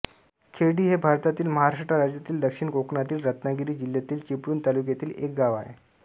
खेरडी हे भारतातील महाराष्ट्र राज्यातील दक्षिण कोकणातील रत्नागिरी जिल्ह्यातील चिपळूण तालुक्यातील एक गाव आहे